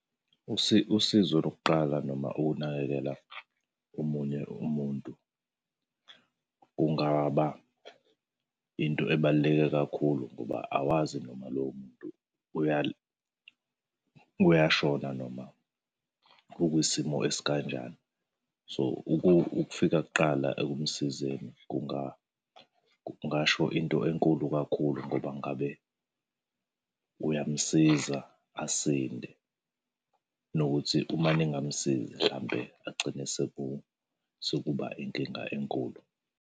Usizo lokuqala noma ukunakekela omunye umuntu kungaba into ebaluleke kakhulu ngoba awazi noma lowo muntu uyashona noma ukwisimo esikanjani. So, ukufika kuqala ekumusizeni kungasho into enkulu kakhulu ngoba ngabe kuyamsiza asinde. Nokuthi uma ningamsizi hlampe agcine sekuba inkinga enkulu.